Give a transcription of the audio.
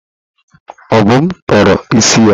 Obum tọrọ isi ya.